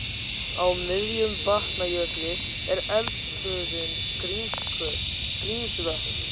Í miðjum Vatnajökli er eldstöðin Grímsvötn.